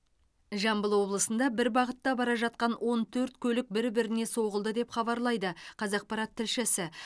жамбыл облысында бір бағытта бара жатқан он төрт көлік бір біріне соғылды деп хабарлайды қазақпарат тілшісі